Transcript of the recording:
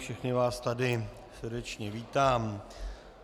Všechny vás tady srdečně vítám.